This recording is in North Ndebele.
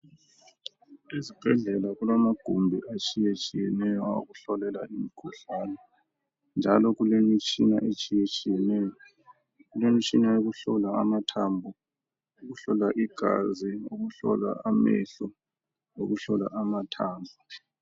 Ezibhedlela kulamagumbi atshiyetshiyeneyo awokuhlolela imikhuhlane njalo kulemitshina etshiyetshiyeneyo. Kulemitshina eyokuhlola amathambo, lokuhlola igazi, lokuhlolwa amehlo, lokuhlola amathambo.